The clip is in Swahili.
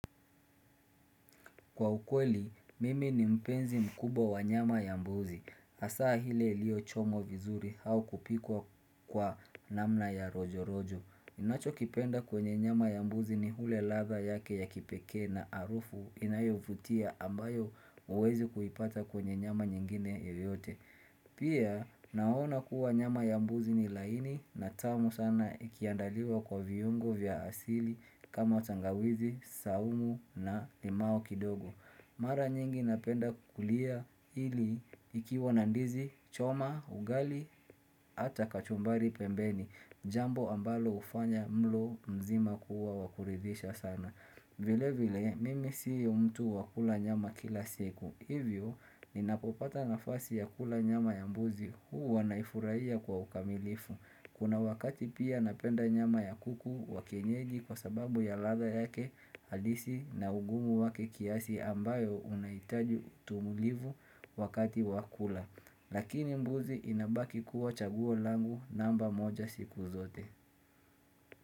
Kwa ukweli, mimi ni mpenzi mkubwa wa nyama ya mbuzi. Asaa ile liyo chomwa vizuri au kupikwa kwa namna ya rojo rojo. Inacho kipenda kwenye nyama ya mbuzi ni ile latha yake ya kipekee na harufu inayovutia ambayo huwezi kuipata kwenye nyama nyingine yeyote. Pia naona kuwa nyama yambuzi ni laini na tamu sana ikiandaliwa kwa viyungo vya asili kama tangawizi, saumu na limao kidogo Mara nyingi napenda kulia ili ikiwa nandizi, choma, ugali, hata kachumbari pembeni Jambo ambalo ufanya mlo mzima kuwa wakuridisha sana vile vile, mimi sii umtu wakula nyama kila siku Hivyo ninapopata nafasi ya kula nyama ya mbuzi huwa naifuraiya kwa ukamilifu Kuna wakati pia napenda nyama ya kuku wakienyeji kwa sababu ya latha yake halisi na ugumu wake kiasi ambayo unaitaju utulivu wakati wakula Lakini mbuzi inabaki kuwa chaguolangu namba moja siku zote.